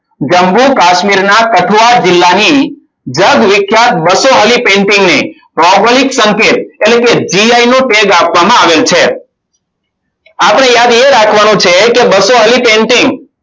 જમ્મુ કાશ્મીરના તકવાર જિલ્લાની જગવિખ્યાત બસો વાળી painting ને ભૌગોલિક સંકેત એટલે કે gi નો tag આપવામાં આવેલ છે. આપણે યાદ એ રાખવાનું છે. કે બસો વાળી painting